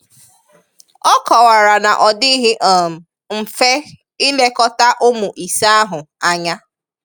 Ọ kọwara na ọ dịghị um mfe ilekọta ụmụ ise ahụ anya